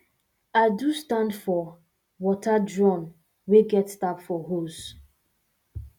i do stand for water drum wey get tap for hose